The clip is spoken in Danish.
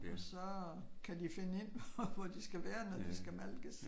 Og så kan de finde ind hvor de skal være når de skal malkes